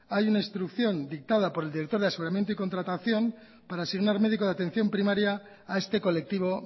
hay una instrucción dictada por el director de aseguramiento y contratación para asignar médico de atención primaria a este colectivo